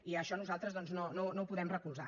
i això nosaltres doncs no ho podem recolzar